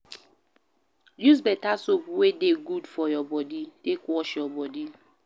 Use better soap wey dey good for your body take wash your body